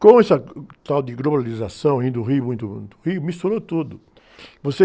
Com essa, tal de globalização, indo ao Rio, muito, muito, Rio, misturou tudo.